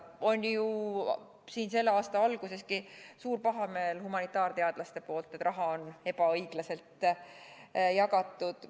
Oli ju selle aasta alguseski humanitaarteadlaste seas suur pahameel, et raha on ebaõiglaselt jagatud.